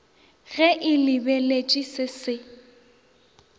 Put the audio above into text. ge e lebeletšwe se se